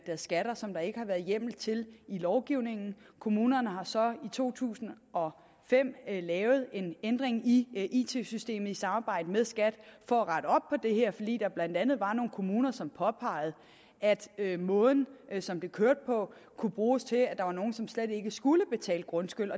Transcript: skatter som der ikke har været hjemmel til i lovgivningen kommunerne har så i to tusind og fem lavet en ændring i it systemet i samarbejde med skat for at rette op på det her fordi der blandt andet var nogle kommuner som påpegede at måden som det kørte på kunne bruges til at der var nogle som slet ikke skulle betale grundskyld